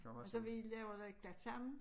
Og så vi laver noget klap sammen